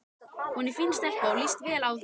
Hún er fín stelpa og líst vel á þig.